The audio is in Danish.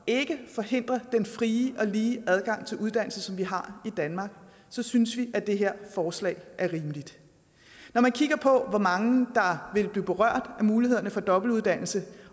ikke forhindrer den frie og lige adgang til uddannelse som vi har i danmark så synes vi at det her forslag er rimeligt når man kigger på hvor mange der vil blive berørt af mulighederne for dobbeltuddannelse